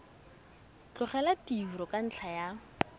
tlogela tiro ka ntlha ya